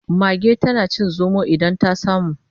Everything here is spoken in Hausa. Mage tana cin zomo idan ta samu.